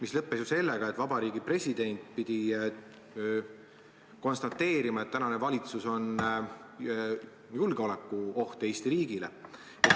Asi lõppes sellega, et president pidi konstateerima, et tänane valitsus on julgeolekuoht Eesti riigile.